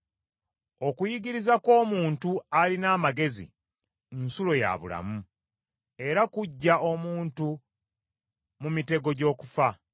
Okuyigiriza kw’omuntu alina amagezi nsulo ya bulamu, era kuggya omuntu mu mitego gy’okufa.